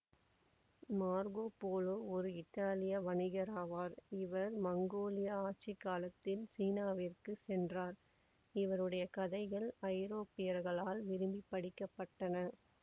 Marco Polo ஒரு இத்தாலிய வணிகராவார் இவர் மங்கோலிய ஆட்சி காலத்தில் சீனாவிற்குச் சென்றார் இவருடைய கதைகள் ஐரோப்பியர்களால் விரும்பி படிக்கப்பட்டன